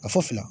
A fɔ fila